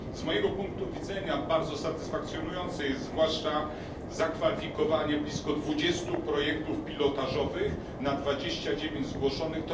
Z mojego punktu widzenia bardzo satysfakcjonujące jest zwłaszcza zakwalifikowanie blisko 20 projektów pilotażowych na 29 zgłoszonych.